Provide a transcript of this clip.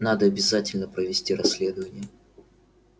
надо обязательно провести расследование